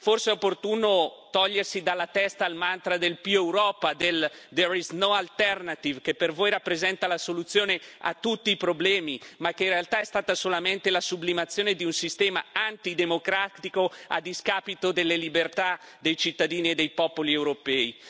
Forse è opportuno togliersi dalla testa il mantra del più Europa del there is no alternative, che per voi rappresenta la soluzione a tutti i problemi ma che in realtà è stato solamente la sublimazione di un sistema antidemocratico a discapito delle libertà dei cittadini e dei popoli europei.